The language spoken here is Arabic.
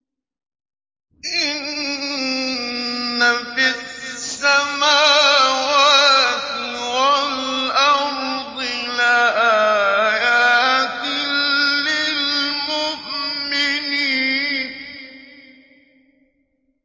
إِنَّ فِي السَّمَاوَاتِ وَالْأَرْضِ لَآيَاتٍ لِّلْمُؤْمِنِينَ